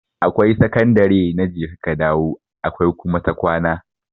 Akwai sakandare na jeka ka dawo akwai kuma ta kwana.